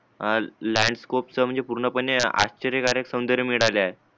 आ landscape च म्हणजे पूर्णपणे म्हणजे आश्चर्यकारक सव्न्दर्य म्हणजे आल्यात